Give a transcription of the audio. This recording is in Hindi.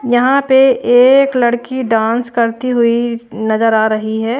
यहां पे एक लड़की डांस करती हुई नजर आ रही है।